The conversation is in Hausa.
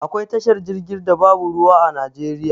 Akwai tashar jirgi da babu ruwa a najeriya